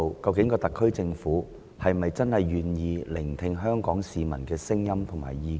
究竟特區政府是否願意聆聽香港市民的聲音和意見呢？